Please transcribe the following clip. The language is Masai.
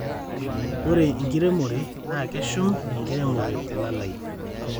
ore enkiremore naa keshum enkiremore telalai